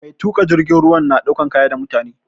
Mai tuƙa jirgin ruwa na ɗaukan kaya da mutane